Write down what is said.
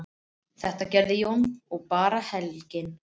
Þetta gerði Jón og bar belginn.